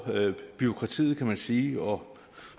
bureaukratiet kan man sige og